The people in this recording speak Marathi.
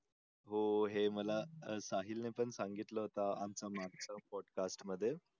हो हे मला साहिल ने पण सांगितले होते आमच्या मागच्या for tax मध्ये